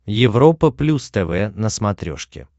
европа плюс тв на смотрешке